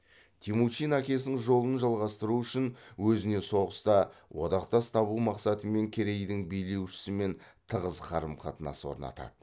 темучин әкесінің жолын жалғастыру үшін өзіне соғыста одақтас табу мақсатымен керейдің билеу шісімен тығыз қарым қатынас орнатады